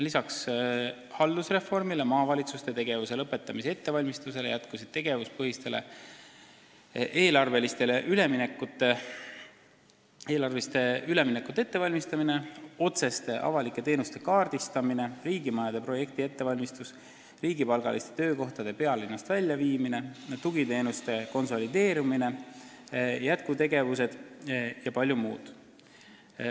Lisaks haldusreformile ja maavalitsuste tegevuse lõpetamise ettevalmistusele jätkus tegevuspõhistele eelarvetele ülemineku ettevalmistus, otseste avalike teenuste kaardistamine, riigimajade projekti ettevalmistus, riigipalgaliste töökohtade pealinnast väljaviimine, tugiteenuste konsolideerumine jpm.